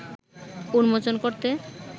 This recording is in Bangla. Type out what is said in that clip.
উন্মোচন করতে